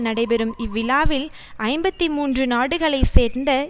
நடைபெறும் இவ்விழாவில் ஐம்பத்தி மூன்று நாடுகளை சேர்ந்த